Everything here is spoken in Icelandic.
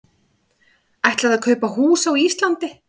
Ætlaði að kaupa hús á Íslandi